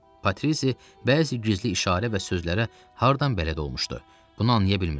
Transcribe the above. Patrizi bəzi gizli işarə və sözlərə hardan bələd olmuşdu, bunu anlaya bilmirdi.